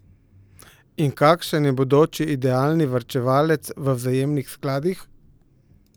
In kakšen je bodoči idealni varčevalec v vzajemnih skladih?